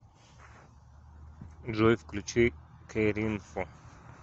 джой включи кэринфо